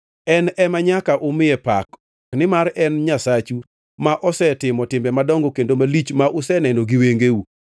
En ema nyaka umiye pak, nimar en Nyasachu ma osetimo timbe madongo kendo malich ma useneno gi wengeu.